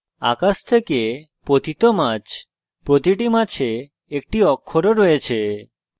আকাশ থেকে পতিত মাছ প্রতিটি মাছে একটি অক্ষর ও রয়েছে